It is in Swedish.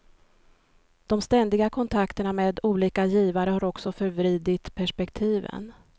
De ständiga kontakterna med olika givare har också förvridigt perspektiven.